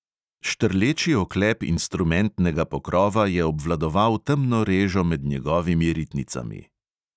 Štrleči oklep instrumentnega pokrova je obvladoval temno režo med njegovimi ritnicami.